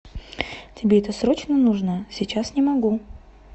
тебе это срочно нужно сейчас не могу